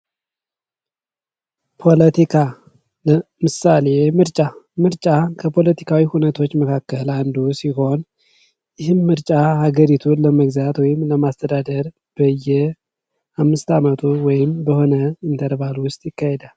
ፖለቲካ ምሳሌ ፤ የምርጫ፡- ምርጫ ከፖለቲካዊ እውነቶች መካከል አንዱ ሲሆን ይህም ሀገሪቱን ለመግዛት ወይም ለማስተዳደር በየአምስት አመቱ ወይም በተወሰነ ኢንተርቫል ይካሄዳል።